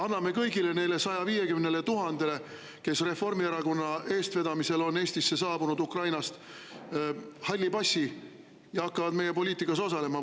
Anname kõigile neile 150 000-le, kes Reformierakonna eestvedamisel on Eestisse saabunud Ukrainast, halli passi ja nad hakkavad meie poliitikas osalema?